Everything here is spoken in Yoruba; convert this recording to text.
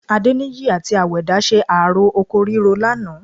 Adéníyì àti Àwẹ̀dá ṣe ààró oko ríro lánàá